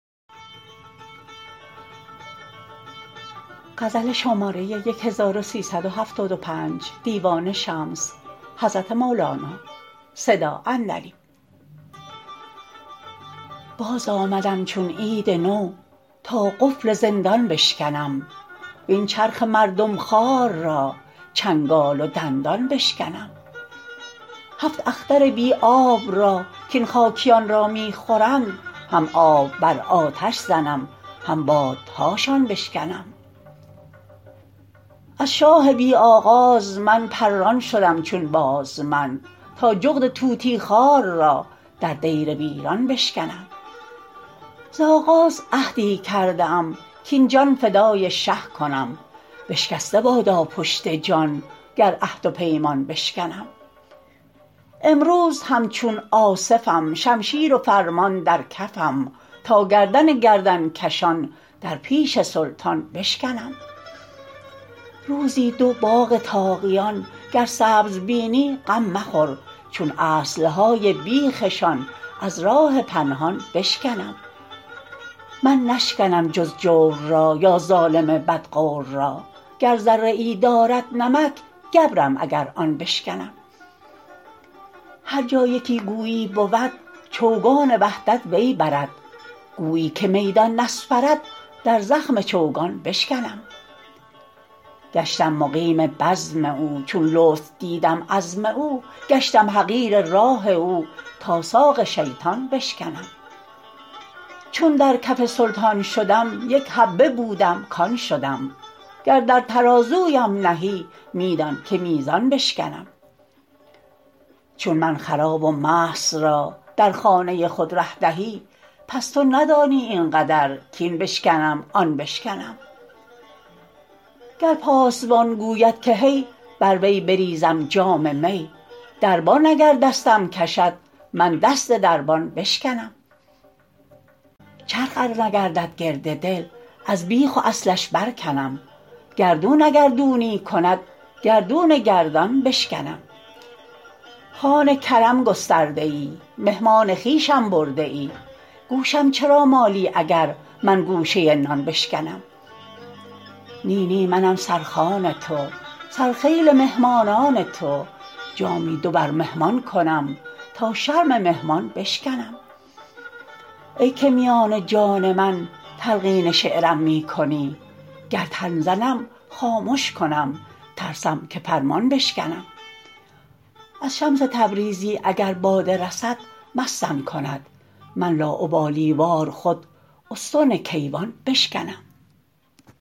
باز آمدم چون عید نو تا قفل زندان بشکنم وین چرخ مردم خوار را چنگال و دندان بشکنم هفت اختر بی آب را کین خاکیان را می خورند هم آب بر آتش زنم هم بادهاشان بشکنم از شاه بی آغاز من پران شدم چون باز من تا جغد طوطی خوار را در دیر ویران بشکنم زآغاز عهدی کرده ام کاین جان فدای شه کنم بشکسته بادا پشت جان گر عهد و پیمان بشکنم امروز همچون آصفم شمشیر و فرمان در کفم تا گردن گردن کشان در پیش سلطان بشکنم روزی دو باغ طاغیان گر سبز بینی غم مخور چون اصل های بیخ شان از راه پنهان بشکنم من نشکنم جز جور را یا ظالم بدغور را گر ذره ای دارد نمک گبرم اگر آن بشکنم هر جا یکی گویی بود چوگان وحدت وی برد گویی که میدان نسپرد در زخم چوگان بشکنم گشتم مقیم بزم او چون لطف دیدم عزم او گشتم حقیر راه او تا ساق شیطان بشکنم چون در کف سلطان شدم یک حبه بودم کان شدم گر در ترازویم نهی می دان که میزان بشکنم چون من خراب و مست را در خانه خود ره دهی پس تو ندانی این قدر کاین بشکنم آن بشکنم گر پاسبان گوید که هی بر وی بریزم جام می دربان اگر دستم کشد من دست دربان بشکنم چرخ ار نگردد گرد دل از بیخ و اصلش برکنم گردون اگر دونی کند گردون گردان بشکنم خوان کرم گسترده ای مهمان خویشم برده ای گوشم چرا مالی اگر من گوشه نان بشکنم نی نی منم سرخوان تو سرخیل مهمانان تو جامی دو بر مهمان کنم تا شرم مهمان بشکنم ای که میان جان من تلقین شعرم می کنی گر تن زنم خامش کنم ترسم که فرمان بشکنم از شمس تبریزی اگر باده رسد مستم کند من لاابالی وار خود استون کیوان بشکنم